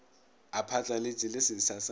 a phatlaletše le setsha sa